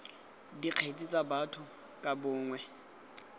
dikgetse tsa batho ka bongwe